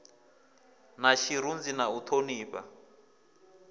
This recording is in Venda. na tshirunzi na u honifha